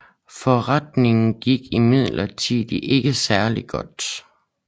Forretningen gik imidlertid ikke særlig godt